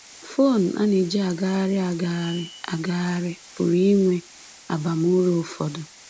Fon a na-eji agagharị agagharị agagharị pụrụ inwe abamuru ụfọdụ.